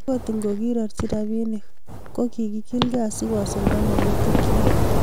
akot ngokirorchi robinik, ko kiikilgei asikosulda mokutikchich